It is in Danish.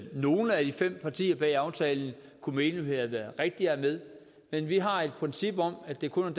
nogle af de fem partier bag aftalen kunne mene havde været rigtige at have med men vi har et princip om at det kun